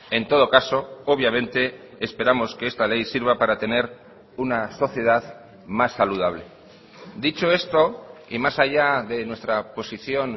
en todo caso obviamente esperamos que esta ley sirva para tener una sociedad más saludable dicho esto y más allá de nuestra posición